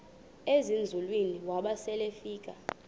ezinzulwini waba selefika